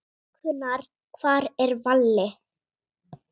Bækurnar Hvar er Valli?